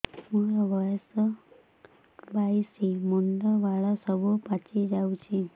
ମୋର ବୟସ ବାଇଶି ମୁଣ୍ଡ ବାଳ ସବୁ ପାଛି ଯାଉଛି